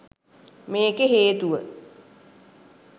මේකේ හේතුව